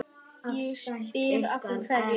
Ég spyr, af hverju?